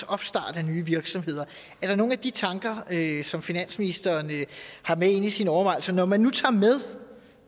opstart af nye virksomheder er der nogle af de tanker som finansministeren har med inde i sine overvejelser når man nu tager med